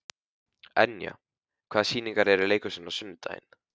Enja, hvaða sýningar eru í leikhúsinu á sunnudaginn?